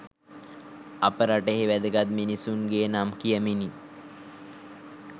අප රටෙහි වැදගත් මිනිසුන්ගේ නම් කියමිනි.